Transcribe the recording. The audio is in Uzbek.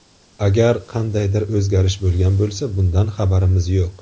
Agar qandaydir o‘zgarish bo‘lgan bo‘lsa bundan xabarimiz yo‘q.